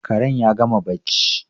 Karen ya gama barci